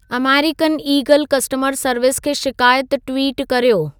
अमेरीकनि ईगलु customer service खे शिकायत ट्विटु कर्यो